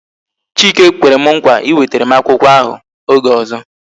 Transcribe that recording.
Chike kwere m nkwa iwetere m akwụkwọ ahụ oge ọzọ